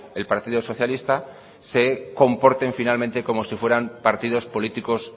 el partido socialista se comportan finalmente como si fueran partidos políticos